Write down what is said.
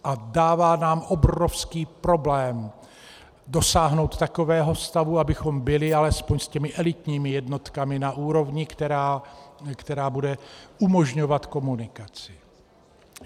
A dává nám obrovský problém dosáhnout takového stavu, abychom byli alespoň s těmi elitními jednotkami na úrovni, která bude umožňovat komunikaci.